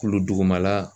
Kulu dugumala